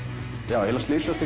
ég eiginlega slysaðist